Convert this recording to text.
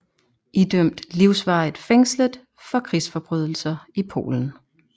Idømt livsvarigt fængslet for krigsforbrydelser i Polen